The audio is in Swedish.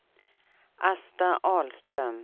Asta Ahlström